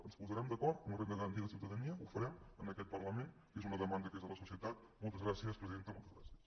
ens posarem d’acord en la renda garantida de ciutadania ho farem en aquest parlament que és una demanda que és de la societat moltes gràcies presidenta moltes gràcies